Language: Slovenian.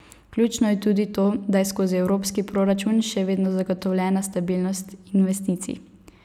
Ključno je tudi to, da je skozi evropski proračun še vedno zagotovljena stabilnost investicij.